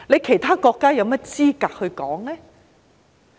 其他國家有甚麼資格說呢？